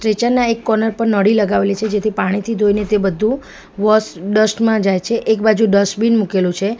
Kitchen ના એક corner પર નળી લગાવેલી છે જેથી પાણીથી ધોઈને તે બધું વૉશ ડસ્ટ માં જાય છે એક બાજુ ડસ્ટબીન મૂકેલું છે.